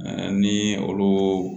ni olu